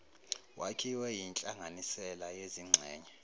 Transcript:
wakhiwe yinhlanganisela yezingxenye